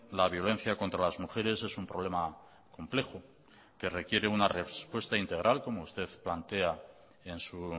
la violencia contra las mujeres es un problema complejo que requiere una respuesta integral como usted plantea en su